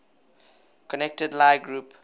connected lie group